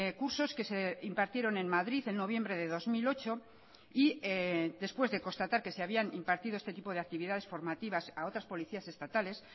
cursos que se impartieron en madrid en noviembre de dos mil ocho y después de constatar que se habían impartido este tipo de actividades formativas a otras policías estatales